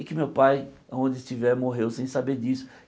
E que meu pai, onde estiver, morreu sem saber disso.